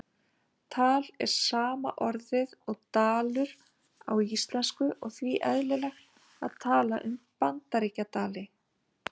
Tal er sama orðið og dalur á íslensku og því eðlilegt að tala um Bandaríkjadali.